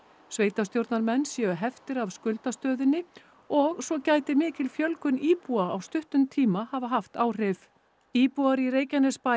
sveitarstjórnarmenn séu heftir af skuldastöðunni og svo gæti mikil fjölgun íbúa á stuttum tíma hafa haft áhrif íbúar í Reykjanesbæ